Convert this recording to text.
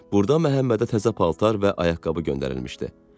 Burda Məhəmmədə təzə paltarlar və ayaqqabı göndərilmişdi.